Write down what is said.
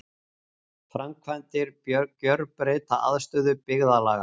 Framkvæmdir gjörbreyta aðstöðu byggðarlaga